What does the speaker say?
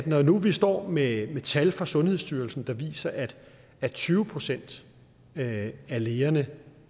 når nu vi står med tal fra sundhedsstyrelsen der viser at at tyve procent af lægerne